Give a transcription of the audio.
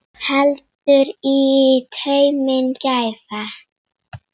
Heldur í tauminn gæfa.